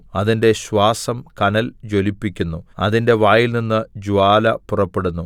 അതിന്റെ ശ്വാസം കനൽ ജ്വലിപ്പിക്കുന്നു അതിന്റെ വായിൽനിന്ന് ജ്വാല പുറപ്പെടുന്നു